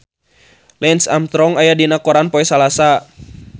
Lance Armstrong aya dina koran poe Salasa